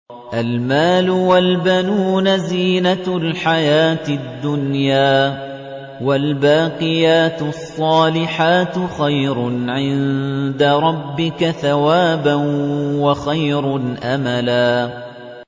الْمَالُ وَالْبَنُونَ زِينَةُ الْحَيَاةِ الدُّنْيَا ۖ وَالْبَاقِيَاتُ الصَّالِحَاتُ خَيْرٌ عِندَ رَبِّكَ ثَوَابًا وَخَيْرٌ أَمَلًا